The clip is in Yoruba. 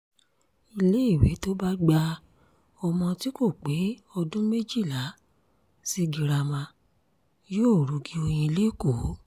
iléèwé tó bá gba ọmọ tí kò pé ọdún méjìlá sí girama yóò rugi oyin lẹ́kọ̀ọ́